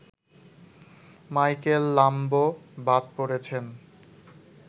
Michael Lamb বাদ পড়েছেন